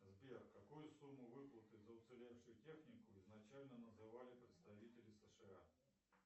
сбер какую сумму выплаты за уцелевшую технику изначально называли представители сша